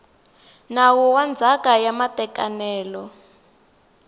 nawu wa ndzhaka ya matekanelo